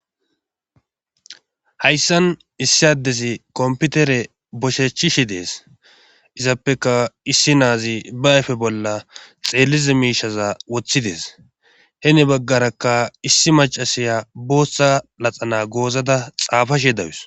Hayssan issi addezi komputere boshechishi dees izappeka issi naazi ba ayfe bolla xeellize miishaza woththidees he ni baggarakka issi macasiya booththa laxana goozada xaafashe dawus